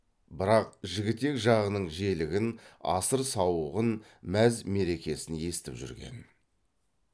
бірақ жігітек жағының желігін асыр сауығын мәз мерекесін естіп жүрген